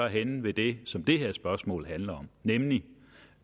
henne ved det som det her spørgsmål handler om nemlig